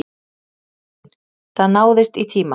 Héðinn: Það náðist í tíma?